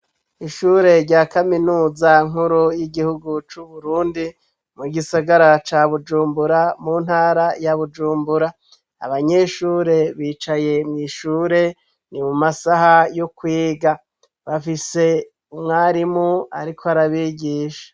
Ishure rya kaminuza nkuru y'igihugu c'Uburundi mu gisagara ca Bujumbura mu ntara ya Bujumbura, abanyeshure bicaye mw'ishure. Ni mu masaha yo kwiga, bafise umwarimu ariko arabigisha.